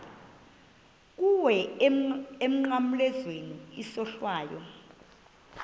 kuwe emnqamlezweni isohlwayo